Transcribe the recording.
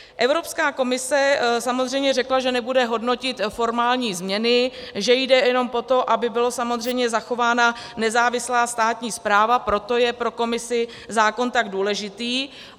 Evropská komise samozřejmě řekla, že nebude hodnotit formální změny, že jde jenom o to, aby byla samozřejmě zachována nezávislá státní správa, proto je pro Komisi zákon tak důležitý.